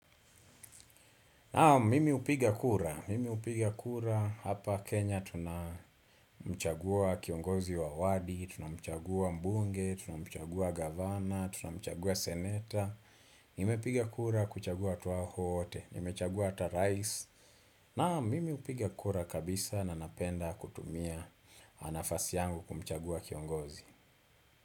Naam mimi hupiga kura, mimi hupiga kura, hapa Kenya tuna mchagua kiongozi wa wadi, tuna mchagua mbunge, tuna mchagua gavana, tuna mchagua seneta, nimepiga kura kuchagua hawa wote, nime chagua ata rais, na mimi hupiga kura kabisa na napenda kutumia nafasi yangu kumchagua kiongozi.